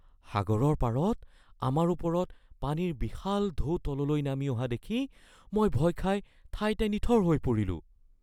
সাগৰৰ পাৰত আমাৰ ওপৰত পানীৰ বিশাল ঢৌ তললৈ নামি অহা দেখি মই ভয় খাই ঠাইতে নিথৰ হৈ পৰিলোঁ৷